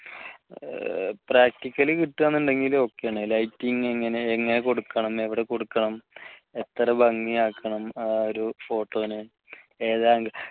practicle കിട്ടുവാണെന്നുണ്ടെങ്കിൽ ok ആണ് lighting എങ്ങനെ കൊടുക്കണമെന്ന് എവിടെ കൊടുക്കണം എത്ര ഭംഗിയാക്കണം ആ ഒരു photo നെ ഏത് angle ൽ